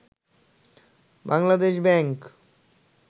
Bangladesh bank